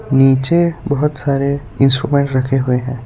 नीचे बहुत सारे इंस्ट्रूमेंट रखे हुए हैं।